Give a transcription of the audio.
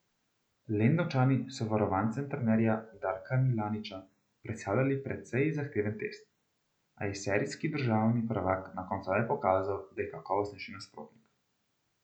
Lendavčani so varovancem trenerja Darka Milaniča predstavljali precej zahteven test, a je serijski državni prvak na koncu le pokazal, da je kakovostnejši nasprotnik.